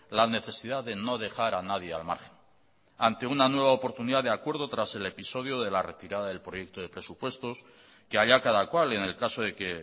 la necesidad de no dejar a nadie al margen ante una nueva oportunidad de acuerdo tras el episodio de la retirada del proyecto de presupuestos que allá cada cual en el caso de que